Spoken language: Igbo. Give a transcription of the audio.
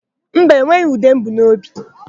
Mba, enweghị ude m bu n'obi.